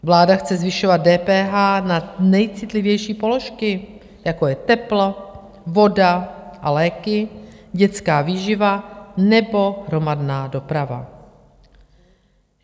Vláda chce zvyšovat DPH na nejcitlivější položky, jako je teplo, voda a léky, dětská výživa nebo hromadná doprava.